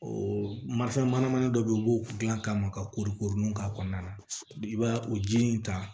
O marifɛn mana u b'o dilan ka ma ka kori koron k'a kɔnɔna na i b'a o ji in ta